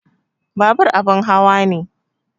Babur abin hawa ne